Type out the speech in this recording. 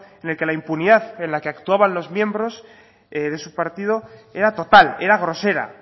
en que la impunidad en la que actuaban los miembros de su partido era total era grosera